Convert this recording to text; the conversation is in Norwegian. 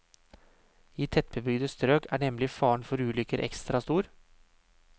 I tettbygde strøk er nemlig faren for ulykker ekstra stor.